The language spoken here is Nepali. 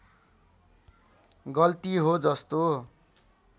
गल्ती हो जस्तो